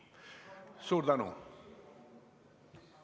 Suur tänu!